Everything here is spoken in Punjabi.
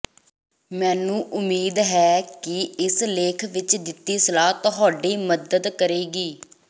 ਮੈਨੂੰ ਉਮੀਦ ਹੈ ਕਿ ਇਸ ਲੇਖ ਵਿਚ ਦਿੱਤੀ ਸਲਾਹ ਤੁਹਾਡੀ ਮਦਦ ਕਰੇਗਾ